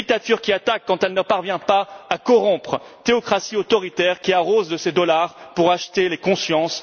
Une dictature qui attaque quand elle ne parvient pas à corrompre, une théocratie autoritaire qui utilise ses dollars pour acheter les consciences.